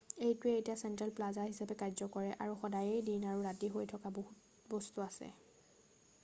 এইটোৱে এতিয়া central plaza হিচাপে কাৰ্য্য কৰে আৰু সদায়েই দিন আৰু ৰাতি হৈ থকা বহুত বস্তু আছে৷